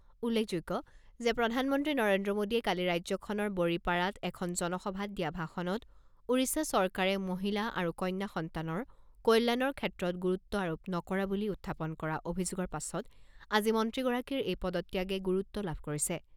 উল্লেখযোগ্য যে প্ৰধানমন্ত্ৰী নৰেন্দ্ৰ মোডীয়ে কালি ৰাজ্যখনৰ বড়িপাৰাত এখন জনসভাত দিয়া ভাষণত ওড়িশা চৰকাৰে মহিলা আৰু কন্যা সন্তানৰ কল্যাণৰ ক্ষেত্ৰত গুৰুত্ব আৰোপ নকৰা বুলি উত্থাপন কৰা অভিযোগৰ পাছত আজি মন্ত্ৰীগৰাকীৰ এই পদত্যাগে গুৰুত্ব লাভ কৰিছে।